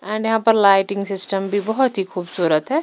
And यहां पर lighting system भी बहुत ही खूबसूरत है।